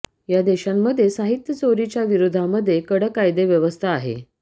ह्या देशांमध्ये साहित्य चोरी च्या विरोधामध्ये कडक कायदेव्यवस्था आहे